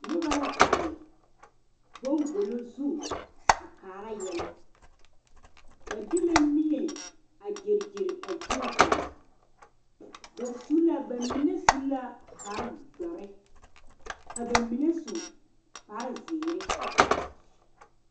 Noba la are bangɔlo zu a kaara yɛllɛ ba de la miɛ a geregere a zie zaa ba su la ba mine su la kpare doɔre ka ba mine su kpare ziiri.